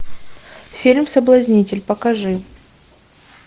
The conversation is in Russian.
фильм соблазнитель покажи